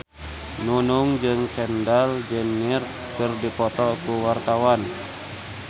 Nunung jeung Kendall Jenner keur dipoto ku wartawan